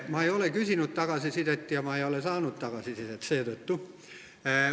Ma ei ole küsinud tagasisidet ja seetõttu ma ei ole ka saanud tagasisidet.